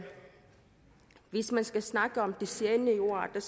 hvis man skal snakke om de sjældne jordarter